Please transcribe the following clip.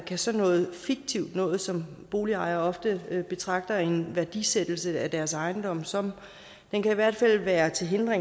kan sådan noget fiktivt noget som boligejere ofte betragter en værdisættelse af deres ejendom som i hvert fald være til hinder